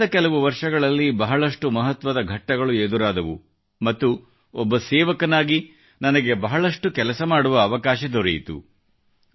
ಕಳೆದ ಕೆಲವು ವರ್ಷಗಳಲ್ಲಿ ಬಹಳಷ್ಟು ಮಹತ್ವದ ಘಟ್ಟಗಳು ಎದುರಾದವು ಮತ್ತು ಒಬ್ಬ ಸೇವಕನಾಗಿ ನನಗೆ ಬಹಳಷ್ಟು ಕೆಲಸ ಮಾಡುವ ಅವಕಾಶ ದೊರೆಯಿತು